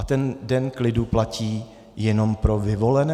A ten den klidu platí jenom pro vyvolené?